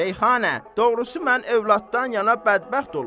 Şeyxana, doğrusu mən övladdan yana bədbəxt olmuşam.